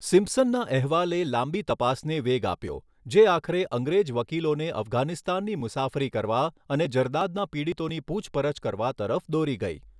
સિમ્પસનના અહેવાલે લાંબી તપાસને વેગ આપ્યો, જે આખરે અંગ્રેજ વકીલોને અફઘાનિસ્તાનની મુસાફરી કરવા અને જરદાદના પીડિતોની પૂછપરછ કરવા તરફ દોરી ગઈ.